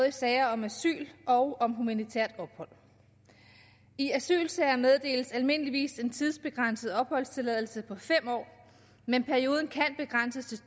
i sager om asyl og om humanitært ophold i asylsager meddeles almindeligvis en tidsbegrænset opholdstilladelse på fem år men perioden kan begrænses